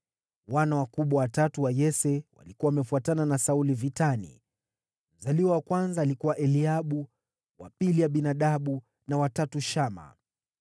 Wana wakubwa watatu wa Yese walikuwa wamefuatana na Sauli vitani: Mzaliwa wa kwanza alikuwa Eliabu, wa pili Abinadabu, na wa tatu Shama.